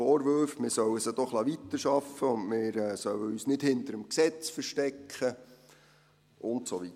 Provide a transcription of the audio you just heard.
Vorwürfe, man solle sie doch weiterarbeiten lassen, und wir sollen uns nicht hinter dem Gesetz verstecken und so weiter: